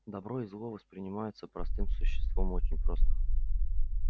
добро и зло воспринимаются простым существом очень просто